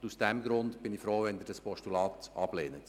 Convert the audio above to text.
Aus dem Grund bin ich froh, wenn Sie das Postulat ablehnen.